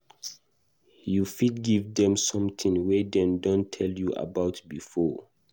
you fit give them something wey dem don tell you about before